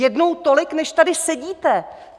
Jednou tolik, než tady sedíte.